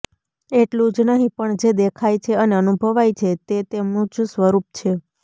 એટલું જ નહિ પણ જે દેખાય છે અને અનુભવાય છે તે તેમનું જ સ્વરૂપ છે